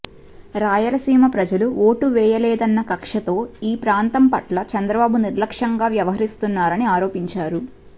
రాయలసీమ ప్రజలు ఓటు వేయలేదన్న కక్షతో ఈ ప్రాంతం పట్ల చంద్రబాబు నిర్లక్ష్యంగా వ్యవహరిస్తున్నారని ఆరోపించారు